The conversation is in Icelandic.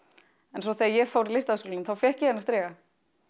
en svo þegar ég fór í Listaháskólann þá fékk ég þennan striga